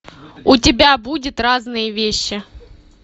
у тебя будет разные вещи